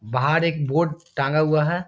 बाहर एक बोर्ड टांगा हुआ है।